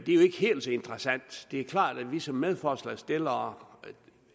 ikke helt så interessant det er klart at vi som medforslagsstillere